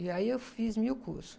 E aí eu fiz mil cursos.